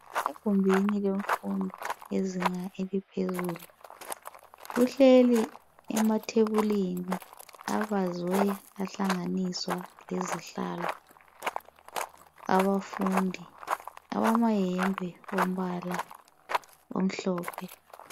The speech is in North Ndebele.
.Egumbini lemfundo yezinga eliphezulu kuhlelwi emathebulini abazwe ahlanganiswa lezihlalo Abafundi abamayembe ombala omhlophe .